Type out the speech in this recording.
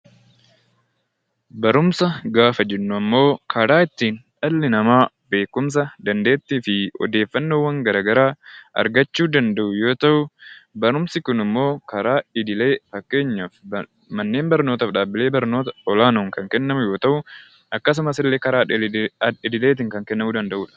Barumsa gaafa jennu ammoo karaa ittiin dhalli namaa beekumsa, dandeettii fi odeeffannoowwan gara garaa argachuu danda'u yoo ta'u, barumsi kun immoo karaa idilee fakkeenyaaf manneen barnootaaf dhaabbilee olaanoon kan kennamu yoo ta'u, akkasumas karaa al-idilee tiin kan kennamuu danda'u dha.